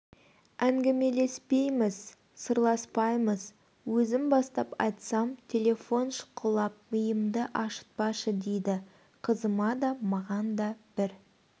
ңгімелеспейміз сырласпаймыз өзім бастап айтсам телефон шұқылап миымды ашытпашы дейді қызыма да маған да бір